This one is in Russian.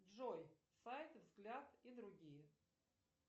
джой сайты взгляд и другие